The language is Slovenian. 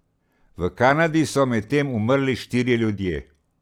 V Kanadi so medtem umrli štirje ljudje.